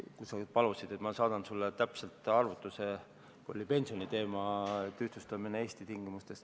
Sa palusid, et ma saadaksin sulle täpse arvutuse, kui jutuks oli pensioniteema ja ühtlustamine Eesti tingimustes.